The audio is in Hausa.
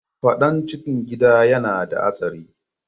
Fadan cikin Gida yana da Hatsari.